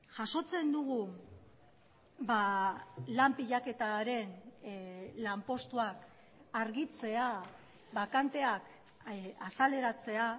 jasotzen dugu lan pilaketaren lanpostuak argitzea bakanteak azaleratzea